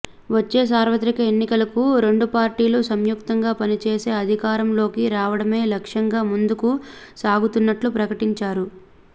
వచ్చే సార్వత్రిక ఎన్నికలకు రెండు పార్టీలు సంయుక్తంగా పనిచేసే అధికారంలోకి రావడమే లక్ష్యంగా ముందుకు సాగుతున్నట్లు ప్రకటించారు